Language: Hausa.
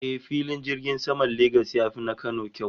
Eh, Filin jirgin saman Lagos ya fi na Kano kyau